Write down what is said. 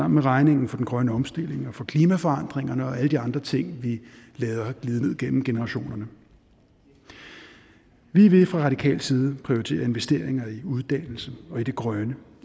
med regningen for den grønne omstilling og for klimaforandringerne og alle de andre ting vi lader glide ned gennem generationerne vi vil fra radikal side prioritere investeringer i uddannelse og i det grønne